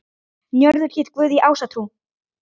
Njörður hét guð í ásatrú.